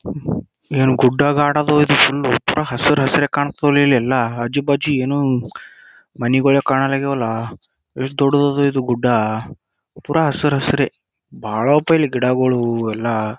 ಏನ್ ಗುಡ್ಡಾಗಿ ಆಡೋದು ಇಲ್ಲಿ ಫುಲ್ ಒಂಥರಾ ಹಸಿರು ಹಸಿರು ಕಾಣ್ತದ ಇಲ್ಲೆಲ್ಲಾ ಆಜು ಬಾಜು ಏನು ಮನೆಗಳೆಲ್ಲಕಣವಲದಲ್ಲ ಎಸ್ಟ್ ದೊಡ್ಡ್ ದಾದಾ ಗುಡ್ಡ ಪುರ ಹಸೀರ್ ಹಸಿರೇ ಬಹಳ ಆತು ಗಿಡಗಳು ಎಲ್ಲ.